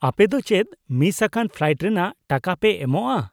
-ᱟᱯᱮ ᱫᱚ ᱪᱮᱫ ᱢᱤᱥ ᱟᱠᱟᱱ ᱯᱷᱞᱟᱭᱤᱴ ᱨᱮᱱᱟᱜ ᱴᱟᱠᱟ ᱯᱮ ᱮᱢᱚᱜᱼᱟ ?